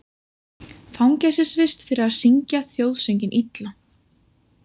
Fangelsisvist fyrir að syngja þjóðsönginn illa